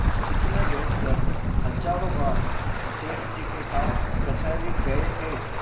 इसमें बैठकर हजारों बार सेठ जी के साथ कचहरी गये थे